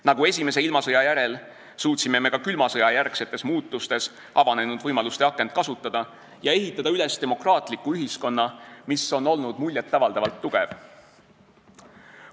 Nagu esimese ilmasõja järel, suutsime me ka külma sõja järgsetes muutustes avanenud võimaluste akent kasutada ja ehitada üles demokraatliku ühiskonna, mis on olnud muljet avaldavalt tugev.